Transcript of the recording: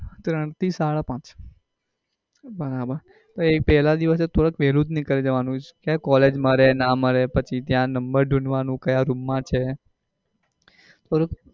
ત્રણ થી સાડા પાંચ બરાબર એટલે પેહલા દિવસે થોડા વેલા જ નીકળી જવાનું collage મળે ના મળે પછી ત્યાં number ઢૂંઢવાનું કયા room માં છે? ઓલું